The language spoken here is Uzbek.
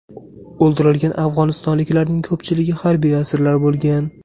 O‘ldirilgan afg‘onistonliklarning ko‘pchiligi harbiy asirlar bo‘lgan.